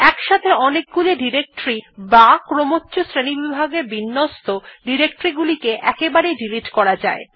একসাথে অনেকগুলি ডিরেক্টরী বা ক্রমচ্ছ শ্রেণীবিভাগে বিন্যস্ত ডিরেক্টরী গুলিকে একবারেই ডিলিট করা যায়